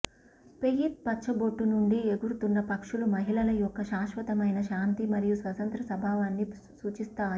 faith పచ్చబొట్టు నుండి ఎగురుతున్న పక్షులు మహిళల యొక్క శాశ్వతమైన శాంతి మరియు స్వతంత్ర స్వభావాన్ని సూచిస్తాయి